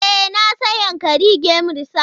E, na san Yankari Game Reserve.